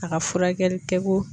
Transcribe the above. A ka furakɛli kɛko.